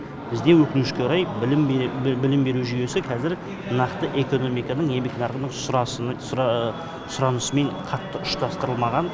бізде өкінішке орай білім білім беру жүйесі қазір нақты экономиканың еңбек нарығының сұранысымен қатты ұштастырылмаған